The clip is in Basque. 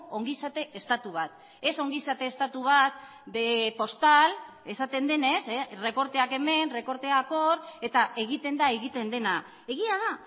ongizate estatu bat ez ongizate estatu bat de postal esaten denez errekorteak hemen errekorteak hor eta egiten da egiten dena egia da